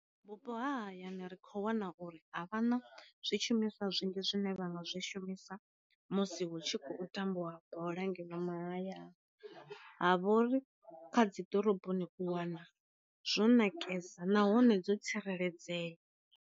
Vhupo ha hayani ri kho wana uri a vha na zwi shumiswa zwinzhi zwine vha nga zwi shumisa musi hu tshi khou tambiwa bola ngeno mahayani, ha vhori kha dzi ḓoroboni u wana zwo ṋakesa nahone dzo tsireledzea.